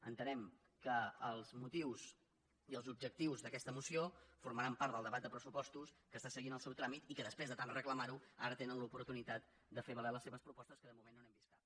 entenem que els motius i els objectius d’aquesta moció formaran part del debat de pressupostos que està seguint el seu tràmit i que després de tant reclamar ho ara tenen l’oportunitat de fer valer les seves propostes que de moment no n’hem vist cap